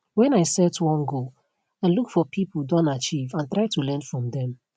when i set one goal i look for pipo don achieve and try to learn from dem